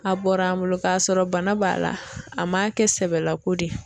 A bɔra an bolo k'a sɔrɔ bana b'a la a ma kɛ sɛbɛlako de ye.